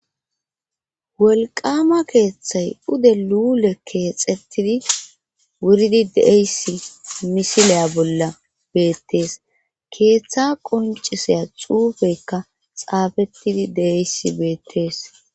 wolqama keeththay pde luule keexettidi wuridi deeyssi misileya bolla beettees keeththa qonciseya xuufekka xaafettidi deeysi beettees